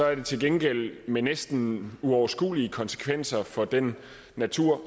er det til gengæld med næsten uoverskuelige konsekvenser for den natur